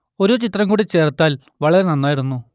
ഒരു ചിത്രം കൂടി ചേർത്താൽ വളരെ നന്നായിരുന്നു